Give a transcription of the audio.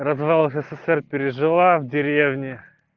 развал ссср пережила в деревне